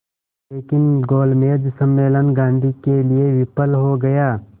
लेकिन गोलमेज सम्मेलन गांधी के लिए विफल हो गया